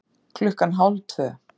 Klukkan hálf tvö